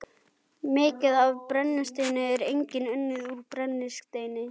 Mikið af brennisteini er einnig unnið úr brennisteinskís.